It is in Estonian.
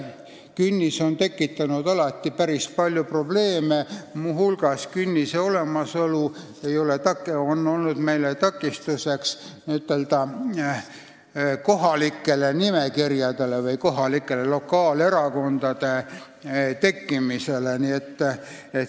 Künnis on tekitanud alati päris palju probleeme, muu hulgas on künnise olemasolu olnud takistuseks kohalike nimekirjade või kohalike erakondade tekkimisele.